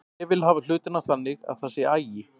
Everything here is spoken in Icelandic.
Ég vil hafa hlutina þannig að það sé agi.